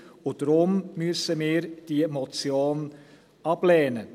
Deshalb müssen wir diese Motion ablehnen.